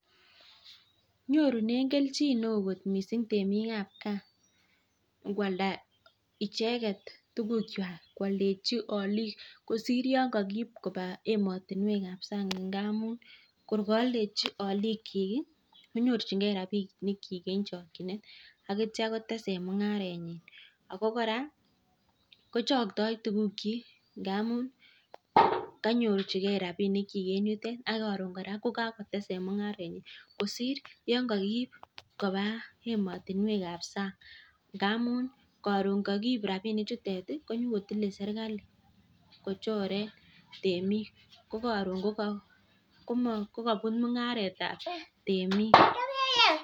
Nyorunen kelchin neo missing temikab gaa ingwalda icheket tugukwak kwoldechi aliik kosir yon kokiib kobaa emotinwek ab sang ngamun kor kooldechi aalikyik ii konyorchingee rapinikyik en chokyinet akitya kotesen mung'arenyin en chokyinet ako kora ko choktooo tugukyik ngamun kanyorchike rapinikyi en yutet ak koron kora kokakotesen mung'arenyin kosir yon ko kiib kobaa emotinwekab sang amun karon kokiib rapinichutet ii konyokotile serikali kochoren temik kokoron kokobut mung'aretab temik.